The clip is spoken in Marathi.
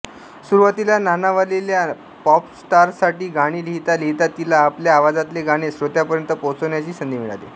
सुरुवातीला नाणावलेल्या पॉपस्टारांसाठी गाणी लिहिता लिहिता तिला आपल्या आवाजातले गाणे श्रोत्यांपर्यंत पोहोचविण्याची संधी मिळाली